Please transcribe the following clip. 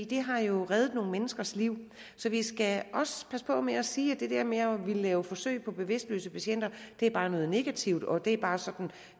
det har jo reddet nogle menneskers liv så vi skal også passe på med at sige om det der med at ville lave forsøg på bevidstløse patienter at det bare er noget negativt og at det bare er sådan